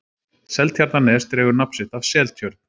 seltjarnarnes dregur nafn sitt af seltjörn